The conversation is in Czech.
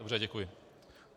Dobře, děkuji.